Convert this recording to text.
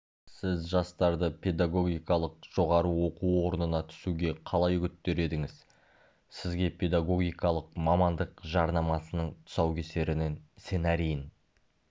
сіз жастарды педагогикалық жоғары оқу орнына түсуге қалай үгіттер едіңіз сізге педагогикалық мамандық жарнамасының тұсаукесерін сценарийін